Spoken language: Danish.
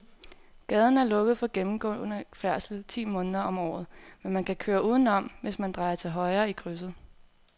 Gaden er lukket for gennemgående færdsel ti måneder om året, men man kan køre udenom, hvis man drejer til højre i krydset.